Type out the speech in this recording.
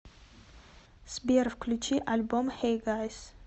сбер включи альбом хэй гайз